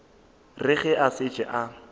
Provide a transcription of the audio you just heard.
re ge a šetše a